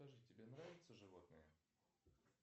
скажи тебе нравятся животные